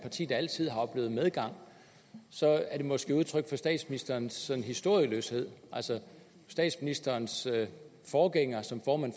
parti der altid har oplevet medgang så er det måske udtryk for statsministerens sådan historieløshed altså statsministerens forgænger som formand